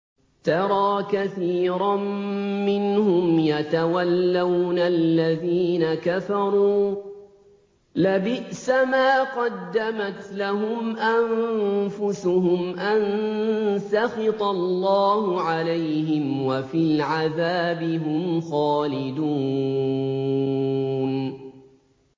تَرَىٰ كَثِيرًا مِّنْهُمْ يَتَوَلَّوْنَ الَّذِينَ كَفَرُوا ۚ لَبِئْسَ مَا قَدَّمَتْ لَهُمْ أَنفُسُهُمْ أَن سَخِطَ اللَّهُ عَلَيْهِمْ وَفِي الْعَذَابِ هُمْ خَالِدُونَ